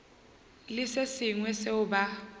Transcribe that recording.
le se sengwe seo ba